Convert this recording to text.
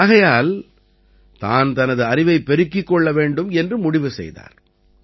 ஆகையால் தான் தனது அறிவைப் பெருக்கிக் கொள்ள வேண்டும் என்று முடிவு செய்தார்